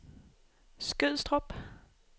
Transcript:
Skødstrup